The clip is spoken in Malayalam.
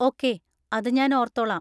ഓക്കേ, അത് ഞാൻ ഓർത്തോളാം.